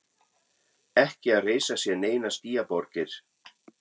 Ekki að reisa sér neinar skýjaborgir.